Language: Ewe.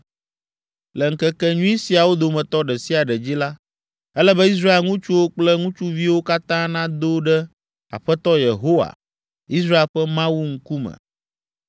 Le ŋkekenyui siawo dometɔ ɖe sia ɖe dzi la, ele be Israel ŋutsuwo kple ŋutsuviwo katã nado ɖe Aƒetɔ Yehowa, Israel ƒe Mawu ŋkume.